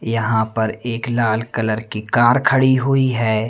यहां पर एक लाल कलर की कार खड़ी हुई है।